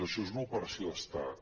això és una operació d’estat